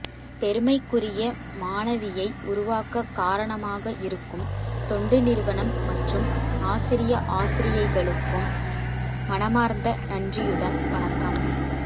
பெருமைக்குரியமணவியை உருவாக்க காரணமாக இருக்கும் தொண்டுநிறுவனம்மற்றும் ஆசிரிய ஆசிரியைகளுக்கும் மனமார்ந்த நன்றியுடன்வணக்கம்